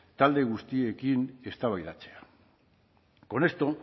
talde guztiekin eztabaidatzea con esto